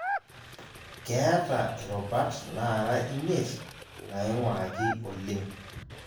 Keeta irubat naara imiet naing'uraki oleng'